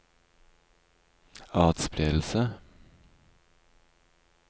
atspredelse